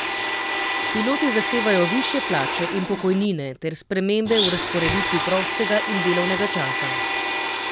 Piloti zahtevajo višje plače in pokojnine ter spremembe v razporeditvi prostega in delovnega časa.